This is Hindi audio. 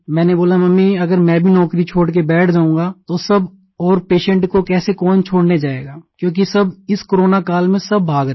मैंने बोला मम्मी अगर मैं भी नौकरी छोड़ कर बैठ जाऊंगा तो सब और पेशेंट को कैसे कौन छोड़ने जाएगा क्योंकि सब इस कोरोना काल में सब भाग रहे हैं